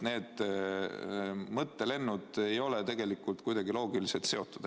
Need mõttelennud ei ole tegelikult kuidagi loogiliselt seotud.